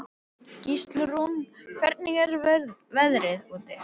Gíslrún, hvernig er veðrið úti?